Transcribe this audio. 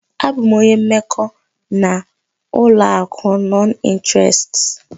Abụ m onye mmekọ n'ụlọ akụ nọn ịnterest.